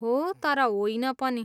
हो, तर होइन पनि!